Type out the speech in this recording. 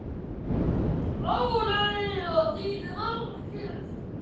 Ládeyða þýðir alkyrr sjór.